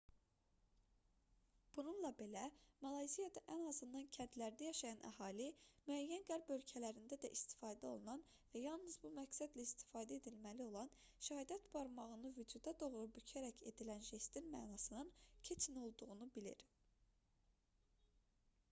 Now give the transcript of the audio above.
bununla belə malayziyada ən azından kəndlərdə yaşayan əhali müəyyən qərb ölkələrində də istifadə olunan və yalnız bu məqsədlə istifadə edilməli olan şəhadət barmağını vücuda doğru bükərək edilən jestin mənasının keçin olduğunu bilir